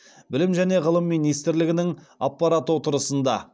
білім және ғылым министрлігінің аппарат отырысында